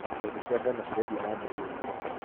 Mbegũ cia ngano cirendio na mbei ya igũrũ.